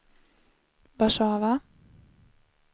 Warszawa